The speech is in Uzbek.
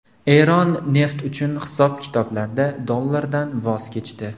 Eron neft uchun hisob-kitoblarda dollardan voz kechdi.